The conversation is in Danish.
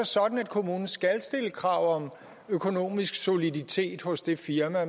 sådan at kommunen skal stille krav om økonomisk soliditet hos det firma